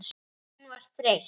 Hún var þreytt.